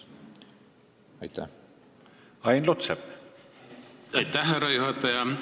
Aitäh, härra juhataja!